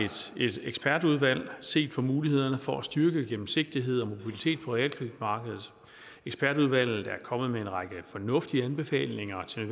et ekspertudvalg set på mulighederne for at styrke gennemsigtighed og mobilitet på realkreditmarkedet ekspertudvalget er kommet med en række fornuftige anbefalinger til